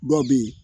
Dɔw bɛ yen